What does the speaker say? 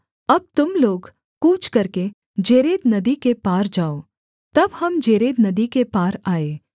अब तुम लोग कूच करके जेरेद नदी के पार जाओ तब हम जेरेद नदी के पार आए